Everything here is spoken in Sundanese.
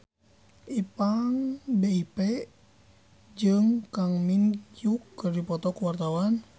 Ipank BIP jeung Kang Min Hyuk keur dipoto ku wartawan